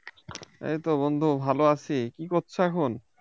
এইতো বন্ধু ভালো আছি কী করছো এখন